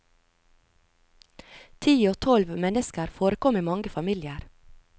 Ti og tolv mennesker forekom i mange familier.